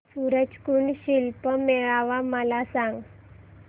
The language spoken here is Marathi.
सूरज कुंड शिल्प मेळावा मला सांग